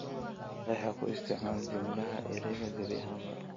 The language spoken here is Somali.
qeex oo ku isticmaal jumladaha ereyga gebi ahaanba